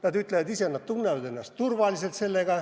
Nad ütlevad, ise nad tunnevad ennast turvaliselt.